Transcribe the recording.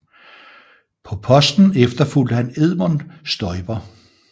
På posten efterfulgte han Edmund Stoiber